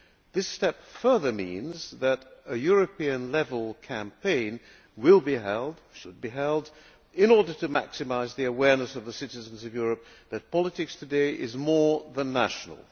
This step further means that a European level campaign will be held should be held in order to maximise the awareness of the citizens of Europe that politics today is more than national.